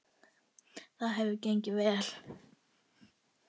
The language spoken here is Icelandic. Það hefur gengið vel.